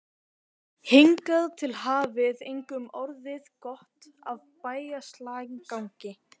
Hingað til hafði engum orðið gott af bægslagangi.